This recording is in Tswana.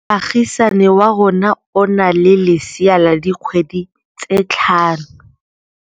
Moagisane wa rona o na le lesea la dikgwedi tse tlhano.